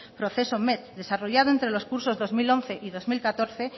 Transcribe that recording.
proceso met desarrollado entre los cursos dos mil once y dos mil catorce